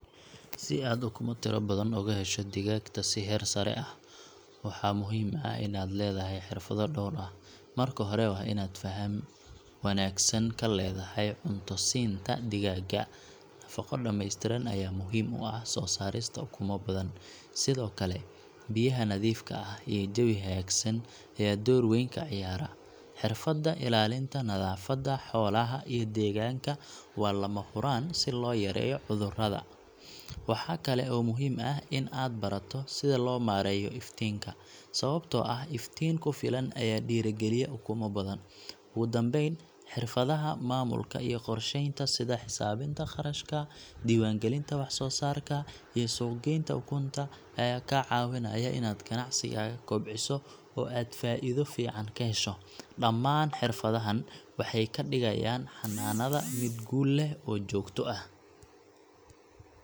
Si aad ukumo tiro badan uga hesho digaagta si heer sare ah, waxaa muhiim ah inaad leedahay xirfado dhowr ah. Marka hore, waa inaad faham wanaagsan ka leedahay cunto-siinta digaagga nafaqo dhameystiran ayaa muhiim u ah soo saarista ukumo badan. Sidoo kale, biyaha nadiifka ah iyo jawi hagaagsan ayaa door weyn ka ciyaara. Xirfadda ilaalinta nadaafadda xoolaha iyo deegaanka waa lama huraan si loo yareeyo cudurrada. Waxaa kale oo muhiim ah in aad barato sida loo maareeyo iftiinka, sababtoo ah iftiin ku filan ayaa dhiirrigeliya ukumo badan. Ugu dambeyn, xirfadaha maamulka iyo qorsheynta sida xisaabinta kharashka, diiwaangelinta waxsoosaarka, iyo suuq-geynta ukunta ayaa kaa caawinaya inaad ganacsigaaga kobciso oo aad faa’iido fiican ka hesho. Dhammaan xirfadahan waxay ka dhigayaan xanaanadaada mid guul leh oo joogto ah.